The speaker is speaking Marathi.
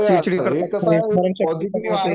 चिडचिड ही करतात